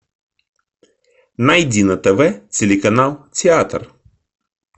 найди на тв телеканал театр